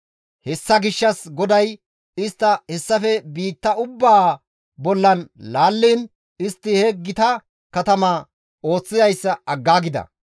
Hessa gishshas GODAY istta hessafe biitta ubbaa bollan laalliin istti he gita katama ooththizayssa aggaagida.